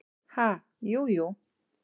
Ha, jú, jú.